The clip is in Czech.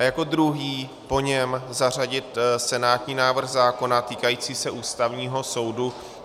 A jako druhý po něm zařadit senátní návrh zákona týkající se Ústavního soudu.